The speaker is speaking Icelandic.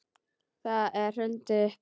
Þeim er hrundið upp.